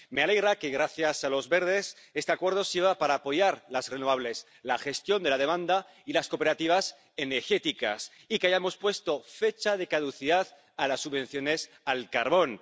Me alegra que gracias al Grupo de los Verdes este acuerdo sirva para apoyar las energías renovables, la gestión de la demanda y las cooperativas energéticas y que hayamos puesto fecha de caducidad a las subvenciones al carbón.